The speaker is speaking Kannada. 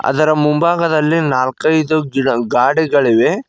ಅದರ ಮುಂಭಾಗದಲ್ಲಿ ನಾಲ್ಕೈದು ಗಿಡ ಗಾಡಿಗಳಿವೆ.